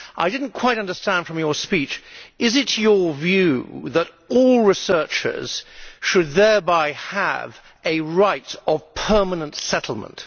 I did not quite understand from your speech is it your view that all researchers should thereby have a right of permanent settlement?